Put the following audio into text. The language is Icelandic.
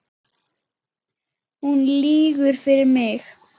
Hún lýgur fyrir mig.